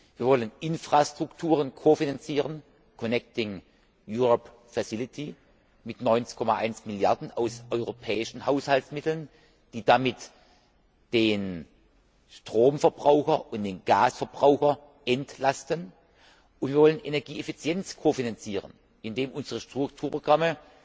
Wir wollen Infrastrukturen kofinanzieren Connecting Europe Facility mit 19,1 Milliarden aus europäischen Haushaltsmitteln, die damit den Strom und den Gasverbraucher entlasten, und wir wollen Energieeffizienz kofinanzieren, indem unsere Strukturprogramme